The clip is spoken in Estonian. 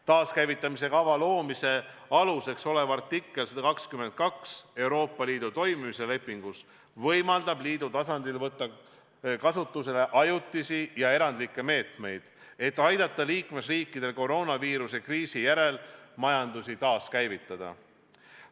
Taaskäivitamise kava loomise aluseks olev Euroopa Liidu toimimise lepingu artikkel 122 võimaldab liidu tasandil võtta kasutusele ajutisi ja erandlikke meetmeid, et aidata liikmesriikidel koroonaviiruse kriisi järel majandust taaskäivitada.